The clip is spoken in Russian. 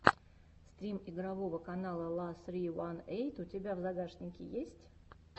стрим игрового канала ла ссри ван эйт у тебя в загашнике есть